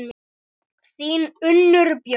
Þín, Unnur Björk.